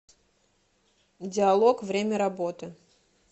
диалог время работы